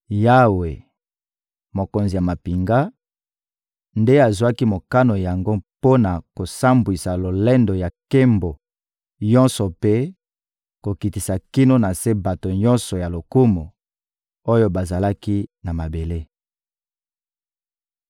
Yawe, Mokonzi ya mampinga, nde azwaki mokano yango mpo na kosambwisa lolendo ya nkembo nyonso mpe kokitisa kino na se bato nyonso ya lokumu, oyo bazali na mabele.